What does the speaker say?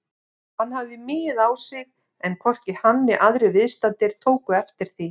Hann hafði migið á sig en hvorki hann né aðrir viðstaddir tóku eftir því.